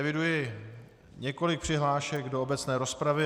Eviduji několik přihlášek do obecné rozpravy.